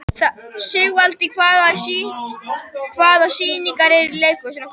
Sigvalda, hvaða sýningar eru í leikhúsinu á föstudaginn?